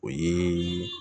O ye